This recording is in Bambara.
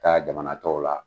Taa jamana tɔw la